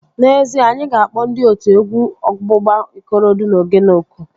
N'ezie, anyị ga-akpọ ndị otu egwu ọgbụgba Ikorodu na Ogene oku